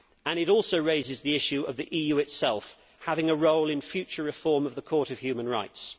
It also raises the issue of the EU itself having a role in any future reform of the Court of Human Rights.